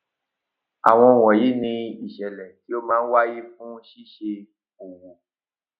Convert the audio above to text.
àwọn wọnyí ni ìṣẹlẹ tí ó máa ń wáyé fún ṣíṣe òwò